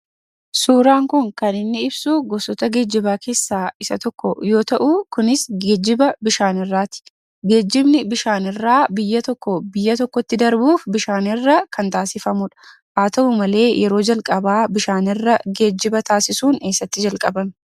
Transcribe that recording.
Suuraan kun kan inni ibsuu gosoota geejjibaa keessaa isa tokko yoo ta'uu kunis geejjiba bishaanirraati. Geejjibni bishaanirraa biyya tokkoo biyya tokkotti darbuuf bishaanirra kan taasifamudha. Haa ta'u malee yeroo jalqabaa bishaanirra geejjiba taasisuun eessatti jalqabame?